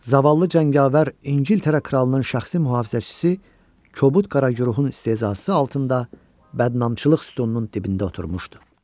Zavallı cəngavər İngiltərə kralının şəxsi mühafizəçisi, kobud Qara Guruxun istehzası altında bədnamçılıq sütununun dibində oturmuşdu.